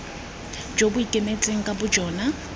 jo bo ikemetseng ka bojona